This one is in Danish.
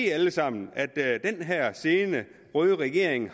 jo alle sammen at den her røde regering